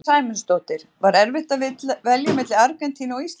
Sunna Sæmundsdóttir: Var erfitt að velja milli Argentínu og Íslands?